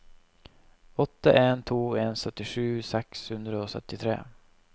åtte en to en syttisju seks hundre og syttitre